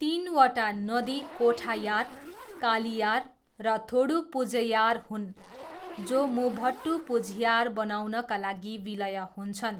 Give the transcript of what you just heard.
तिनवटा नदी कोठायार, कालियार र थोडुपुझयार हुन्, जो मुभट्टुपुझयार बनाउनका लागि विलय हुन्छन्।